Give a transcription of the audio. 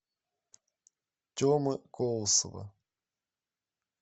темы колосова